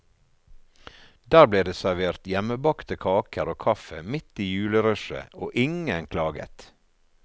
Der ble det servert hjemmebakte kaker og kaffe midt i julerushet, og ingen klaget.